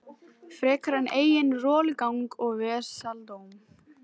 Frekar en eigin rolugang og vesaldóm.